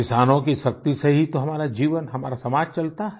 किसानों की शक्ति से ही तो हमारा जीवन हमारा समाज चलता है